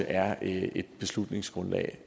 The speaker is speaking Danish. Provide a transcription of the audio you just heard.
er et beslutningsgrundlag